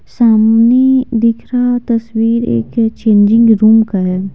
सामने दिख रहा तस्वीर एक चेंजिंग रूम का है।